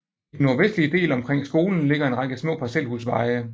I den nordvestlige del omkring skolen ligger en række små parcelhusveje